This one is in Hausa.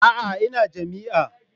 A'a ina jami'a.